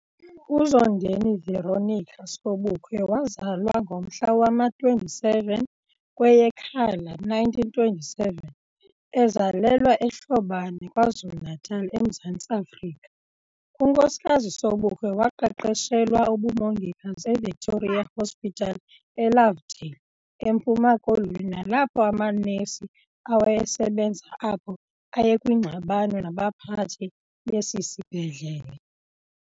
UZondeni Veronica Sobukwe wazalwa ngomhla wama 27 kweyeKhala 1927, ezalelwa eHlobane, KwaZulu Natal eMzantsi Afrika. UNkosikazi Sobukwe waqeqeshelwa ubumongikazi eVictoria Hospital eLovedale eMpuma Koloni nalapho amanesi awayesebenza apho ayekwingxabano nabaphathi besisibhedlele.